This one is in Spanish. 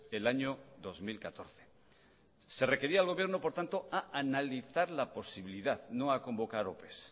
el año dos mil catorce se requería al gobierno por tanto a analizar la posibilidad no a convocar opes